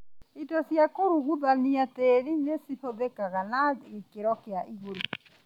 Indo cia kũruguthania tĩri nĩihũthĩkaga na gĩkĩro kĩa igũrũ